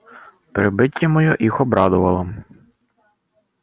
прибытие моё их обрадовало